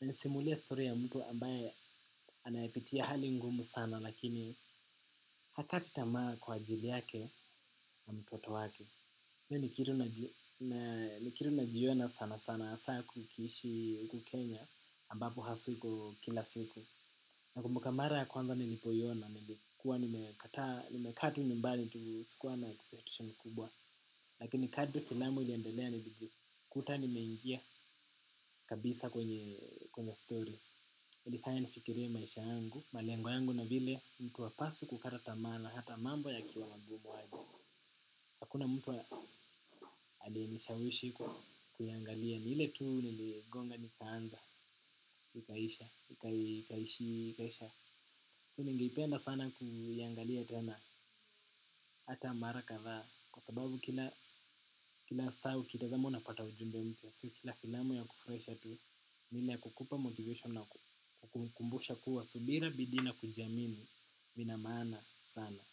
Inanisimulia story ya mtu ambaye anayepitia hali ngumu sana lakini hakati tamaa kwa ajili yake na mtoto wake. Iyo ni kitu najiona sana sana asaa kukiishi uku Kenya ambapo hasui iko kila siku. Na kumbukanmara ya kwanza nilipoyona, nilikuwa nimekata, nimeka tu nimbali, nitu sikuwa na expectation kubwa. Lakini kati filamu iliandelea nilijikuta nimeingia kabisa kwenye story. Ilifaya nifikirie maisha yangu, malengo yangu na vile mtu hapaswi kukata tama na, hata mambo yakiwa magumu waji. Hakuna mtu alienishawishi kuyangalia, ni ile tu niligonga nikaanza, nikaisha, nikaishi, nikaisha. Sini ngeipenda sana kuyangalia tena hata mara kadhaa. Kwa sababu kila saa ukitazama unapata ujumbe mpya. Sio kila filamu inakufurahisha tu ni ile ya kukupa motivation na kukukumbusha kuwa subira bidii na kujamini lina maana sana.